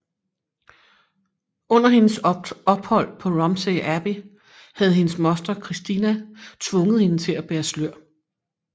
Under hendes ophold på Romsey Abbey havde hendes moster Cristina tvunget hende til at bære slør